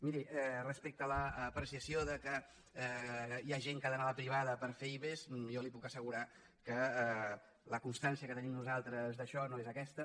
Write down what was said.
miri respecte a l’apreciació que hi ha gent que ha d’anar a la privada per fer ive jo li puc assegurar que la constància que tenim nosaltres d’això no és aquesta